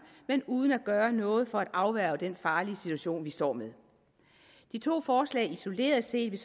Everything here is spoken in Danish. men uden at gøre noget for at afværge den farlige situation vi står med de to forslag isoleret set